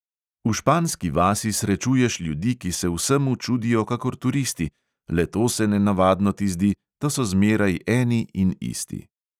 V španski vasi srečuješ ljudi, ki se vsemu čudijo kakor turisti, le to se nenavadno ti zdi, da so zmeraj eni in isti.